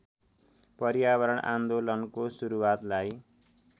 पर्यावरण आन्दोलनको सुरुवातलाई